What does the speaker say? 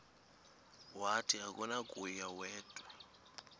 wathi akunakuya wedw